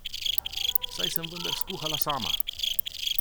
Saj sem vendar skuhala sama!